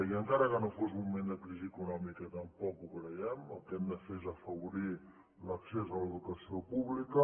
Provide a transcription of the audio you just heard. i encara que no fos un moment de crisi econòmica tampoc ho creiem el que hem de fer és afavorir l’accés a l’educació pública